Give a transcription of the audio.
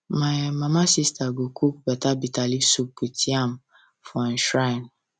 my um mama sister go cook better bitterleaf soup with yam for um shrine